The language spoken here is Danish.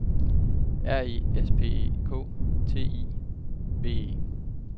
R E S P E K T I V E